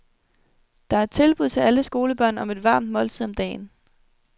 Der er tilbud til alle skolebørn om et varmt måltid om dagen.